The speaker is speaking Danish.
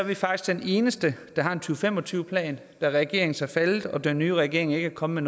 vi faktisk de eneste der har en to fem og tyve plan da regeringens er faldet og den nye regering ikke er kommet